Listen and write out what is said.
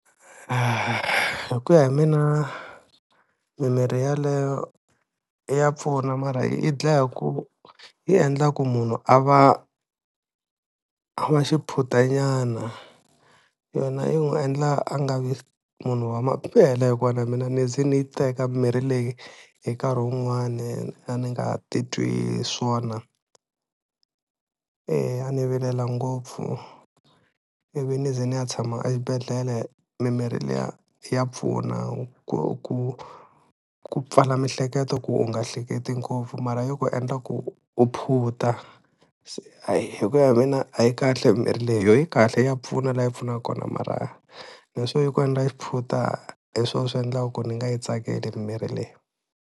Hi ku ya hi mina mimirhi yeleyo ya pfuna mara yi dlaya hi ku yi endla ku munhu a va a va xiphuta nyana, yona yi n'wi endla a nga vi munhu wa hikuva na mina ni ze ni yi teka mimirhi leyi hi nkarhi wun'wani a ni nga titwi swona, e a ni vilela ngopfu ivi ni ze ni ya tshama exibedhlele, mimirhi liya ya pfuna ku ku ku pfala mihleketo ku u nga hleketi ngopfu mara yi ku endla ku u phunta, se hayi hi ku ya hi mina a yi kahle mirhi leyi yo yi kahle ya pfuna la yi pfunaka kona mara leswo yi ku endla xiphuta hi swona swi endlaka ku ni nga yi tsakeli mirhi leyi.